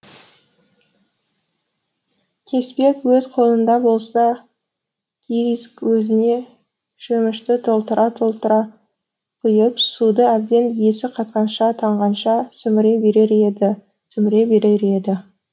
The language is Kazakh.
кеспек өз қолында болса кириск өзіне шөмішті толтыра толтыра құйып суды әбден есі қатқанша танғанша сіміре берер еді сіміре берер еді